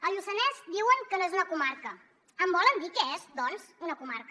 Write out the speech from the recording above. el lluçanès diuen que no és una comarca em volen dir què és doncs una comarca